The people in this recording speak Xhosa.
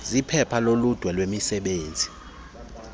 zephepha loludwe lwemisebenzi